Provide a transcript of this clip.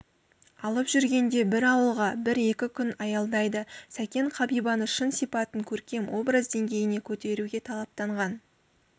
алып жүргенде бір ауылға бір-екі күн аялдайды сәкен қабибаның шын сипатын көркем образ деңгейіне көтеруге талаптанған